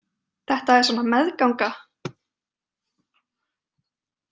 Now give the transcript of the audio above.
Þetta er svona með- ganga.